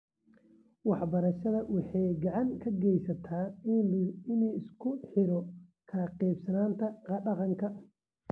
Waxbarashada waxay gacan ka geysataa in la isku xiro kala qaybsanaanta dhaqanka.